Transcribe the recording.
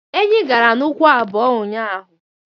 Enyi gara n' ụkwụ abụo unyaahụ.